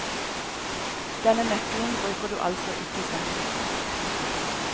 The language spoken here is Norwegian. Denne nøkkelen bruker du altså ikke selv.